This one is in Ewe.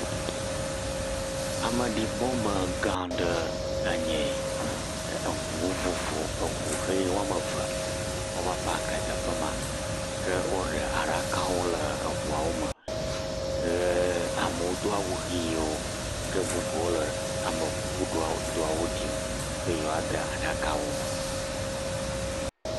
Ameɖibɔgã aɖeme enye eyi ʋu ɣi eve va paki ɖe teƒema ke woɖe aɖaka le ʋuwo me eye amewo do ɣiwo ke bubu le amekukudoawo ɖem be yewoade aɖakawo me.